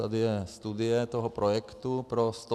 Tady je studie toho projektu pro 150 dětí.